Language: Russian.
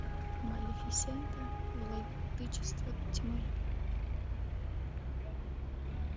малефисента владычица тьмы